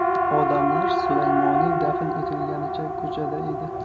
Odamlar Sulaymoniy dafn etilganicha ko‘chada edi.